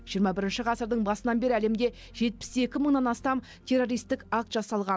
жиырма бірінші ғасырдың басынан бері әлемде жетпіс екі мыңнан астам террористік акт жасалған